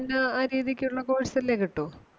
പിന്നേ ആ രീതിക്കുള്ള course അല്ലേ കിട്ടൂ.